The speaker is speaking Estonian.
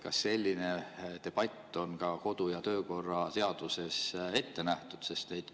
Kas selline debatt on ka kodu‑ ja töökorra seaduses ette nähtud?